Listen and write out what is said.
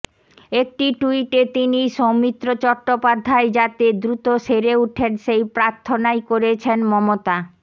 একটি ট্যুইটে তিনি সৌমিত্র চট্টোপাধ্যায় যাতে দ্রুত সেরে ওঠেন সেই প্রার্থনাই করেছেন মমতা